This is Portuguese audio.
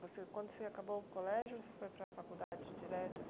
Quando você acabou o colégio, você foi para a faculdade direto?